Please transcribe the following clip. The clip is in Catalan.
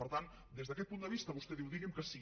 per tant des d’aquest punt de vista vostè diu digui’m que sí